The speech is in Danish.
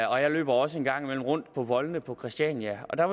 og jeg løber også en gang imellem rundt på voldene på christiania der